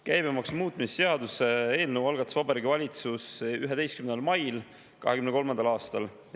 Käibemaksu muutmise seaduse eelnõu algatas Vabariigi Valitsus 11. mail 2023. aastal.